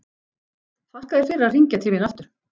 Þakka þér fyrir að hringja til mín aftur.